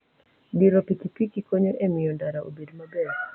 Diro piki piki konyo e miyo ndara obed maber.